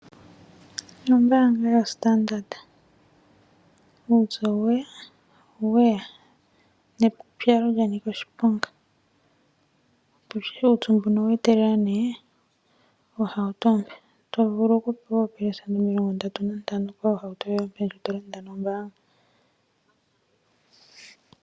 Ombaanga yoStandard. Uupyu oweya weya nepupyalo lyanika oshiponga. Uupyu mbuno oweetelela nee oohauto oompe to vulu okupewa oopelesenda omilongo ndatu nantano kohauto yoye ompe ndjo to landa nombaanga.